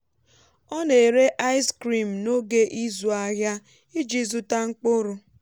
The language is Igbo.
ọ na-ere ice cream n’oge ịzụ ahịa iji zụta mkpụrụ.